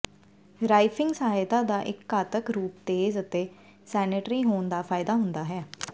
ਰਾਈਫ਼ਿੰਗ ਸਹਾਇਤਾ ਦਾ ਇੱਕ ਘਾਤਕ ਰੂਪ ਤੇਜ਼ ਅਤੇ ਸੈਨੇਟਰੀ ਹੋਣ ਦਾ ਫਾਇਦਾ ਹੁੰਦਾ ਹੈ